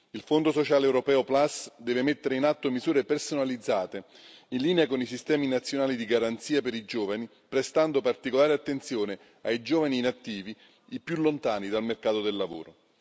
Il Fondo sociale europeo Plus deve mettere in atto misure personalizzate, in linea con i sistemi nazionali di garanzia per i giovani, prestando particolare attenzione ai giovani inattivi, i più lontani dal mercato del lavoro.